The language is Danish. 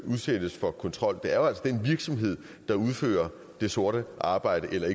udsættes for kontrol det er jo altså den virksomhed der udfører det sorte arbejde eller